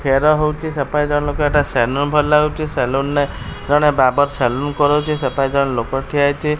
ଖେର ହୋଉଚି ସେପାଖେ ଜଣେ ଲୋକ ଏଟା ସେଲୁନ୍ ଭଳି ଲାଗୁଚି ସେଲୁନ୍ ରେ ଜଣେ ବାର୍ବର୍ ସେଲୁନ୍ କରଉଚି ସେପାଖେ ଜଣେ ଲୋକ ଠିଆ ହେଇଚି।